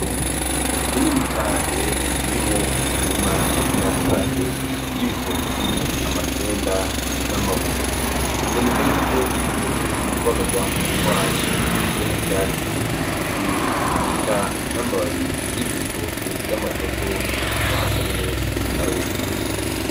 Itongo rinini cane ririmwo imirima itandukanye ry'ibitoki ,amatunda n'amabungo biboneka yuko bigeze kubagarwa kubera kuko hasi harimwo ivyatsi vy'urwiri ,eka n'amababi yivyo bitoki y'amatoto amaze kurwa hasi ari meshi aruma.